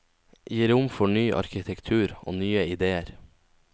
Gi rom for ny arkitektur og nye idéer.